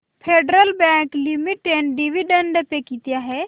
federal bank limited dividend pay किती आहे